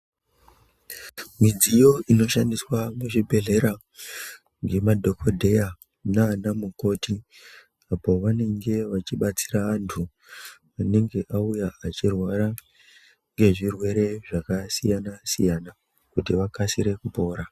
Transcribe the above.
Midziyo inoshandiswa muzvibhedhlera ngemadhogodheya nana mukoti. Apo vanenge vachibatsira vantu anenge auya achirwara ngezvirwere zvakasiyana-siyana, kuti vakasire kupora.